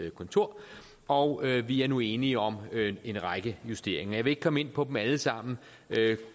kontor og vi er nu enige om en række justeringer jeg vil ikke komme ind på dem alle sammen men